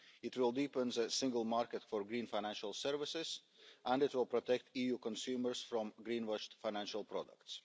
It will deepen the single market for green financial services, and it will protect EU consumers from greenwashed financial products.